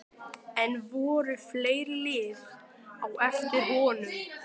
En voru fleiri lið á eftir honum?